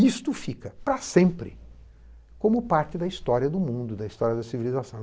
Isto fica para sempre como parte da história do mundo, da história da civilização.